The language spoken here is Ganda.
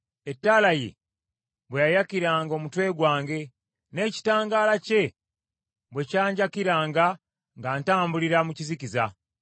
ettaala ye bwe yayakiranga omutwe gwange, n’ekitangaala kye bwe kyanjakiranga nga ntambulira mu kizikiza.